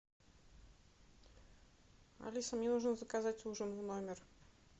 алиса мне нужно заказать ужин в номер